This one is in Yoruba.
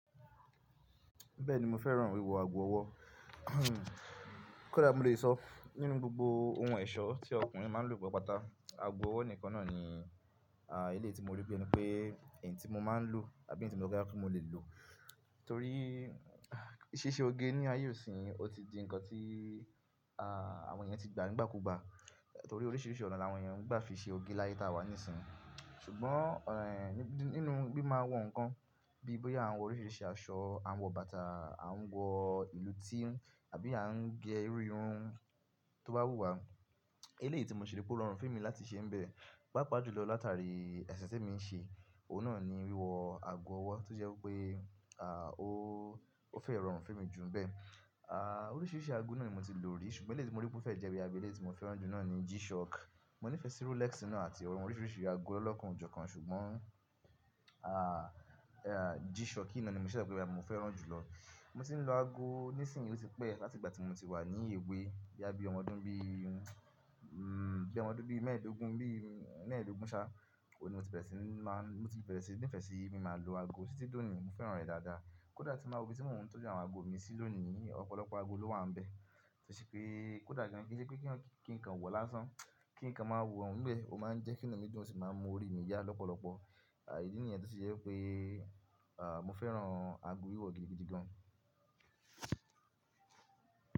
Bẹ́ẹ̀ ni, mo fẹ́ràn wíwọ̀ ago ọwọ́. Kódà mo lè sọ nínú gbogbo ohun ẹ̀ṣọ́ tí ọkùnrin máa ń lò pátá, ago ọwọ́ nìkan náà ni, à, ilé tí mo rí pé, ẹni tí mo máa ń lò àbí ẹni tí mo máa dára kí mo lè lò. Torí, ṣíṣe oge ní ayé isin yìí, ó ti di ǹkan tí, àwọn ẹ̀yàn ti gbà nígbàkúgbà. Torí oríṣiríṣi ọ̀nà làwọn ẹ̀yàn ń gbà fi ṣe òge láyé ta wà níìsín. Ṣùgbọ́n, ẹ̀, nínú kí n máa wo ǹkan bí i bóyá àwọn oríṣiríṣi aṣọ, àwọn bàtà, àwọn ìlú tíìhùn àbí à ń gé irú irun tó bá wù wá. Eléyìí tí mo ń ṣìrí pé ó rọrùn fún mi láti ṣe ń bẹ. Pàápàá jùlọ lọ látàrí ẹ̀sìn tí mo ń ṣe, òun náà ni wíwọ̀ ago ọwọ́ tó jẹ́ pé, à, ó fẹ́ rọrùn fún mi jù ń bẹ. À, oríṣiríṣi ago náà ni mo ti lò rí, ṣùgbọ́n eléyìí tí mo rí pé ó fẹ́ jẹ́ wí abẹ́lé tí mo fẹ́ràn jù náà ni G-Shock. Mo nífẹ̀ẹ́ sí Rolex iná àti àwọn oríṣiríṣi ago ọlọ́kàn ju kàn ṣùgbọ́n, à, G-Shock iná ni mo ṣẹ̀ṣẹ̀ gbọ́ wí pé mo fẹ́ràn jù lọ. Mo ti ń lo ago níìsín ló ti pẹ́, láti ìgbà tí mo ti wà ní èwe bíí ọmọ ọdún bí i, bí ọmọ ọdún mẹ́ẹ̀ẹ́dógún bí i mẹ́ẹ̀ẹ́dógún ṣá. Òun ni mo ti pinle ti máa ń, mo ti pinle ti nífẹ̀ẹ́ sí i, mo máa ń lo ago títí tọ̀ní, mo fẹ́ràn rẹ̀ dáadáa. Kódà tí máa wo ibi tí mò ń tọ́jú àwọn ago mi sí lónìí, ọ̀pọ̀lọpọ̀ ago ló wà ń bẹ. Tó ṣé pé, kódà kí ń sọ pé kí nǹkan wọ̀ lásán, kí nǹkan máa wọ ń bẹ, ó máa ń jẹ́ kí ìnàkí dùn ó sì máa ń mú orí mi yá lọ́pọ̀lọpọ̀. À, ìdí nìyẹn tí ó ṣe jẹ́ pé, à, mo fẹ́ràn ago wíwọ̀ gidi gidi gan.